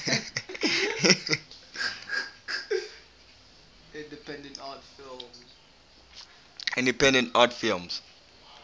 independent art films